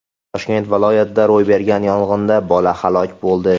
Toshkent viloyatida ro‘y bergan yong‘inda bola halok bo‘ldi.